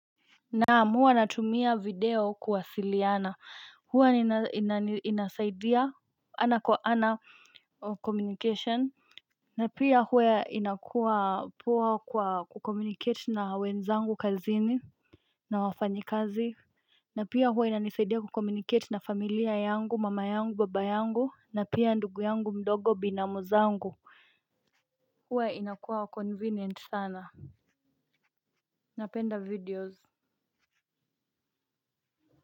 Naamua natumia video kuwasiliana huwa inasaidia ana kwa ana communication. Na pia huwa inakuwa poa kwa kukomuniket na wenzangu kazini. Na wafanyikazi na pia huwa inanisaidia kukomuniket na familia yangu mama yangu baba yangu na pia ndugu yangu mdogo binamu zangu. Huwa inakuwa convenient sana. Napenda videos.